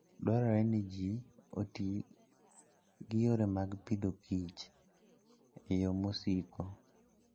Dwarore ni ji oti gi yore mag Agriculture and Foode yo masiko.